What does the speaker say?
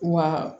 Wa